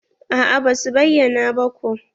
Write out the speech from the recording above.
A'a basu bayyana ba ko.